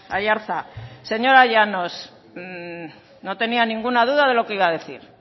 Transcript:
aiartza señora llanos no tenía ninguna duda de lo que iba a decir